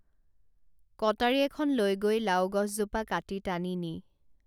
কটাৰী এখন লৈ গৈ লাওগছজোপা কাটি টানি নি